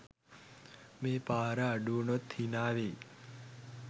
මේ පාර අඩුවුනොත් හිනාවෙයි